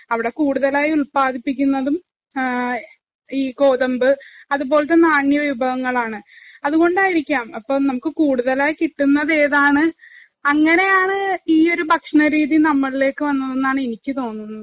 അവിടെ കൂടുതലായി ഉത്പാദിപ്പിക്കുന്നതും ഈ ഗോതമ്പ് അതുപോലത്തെ നാണ്യവിഭവങ്ങളാണ്. അതുകൊണ്ടായിരിക്കാം അപ്പൊ നമുക്ക് കൂടുതലായി കിട്ടുന്നത് ഏതാണ് അങ്ങനെയാണ് ഈ ഒരു ഭക്ഷണരീതി നമ്മളിലേക്ക് വന്നത് എന്നാണ് എനിക്ക് തോന്നുന്നത്.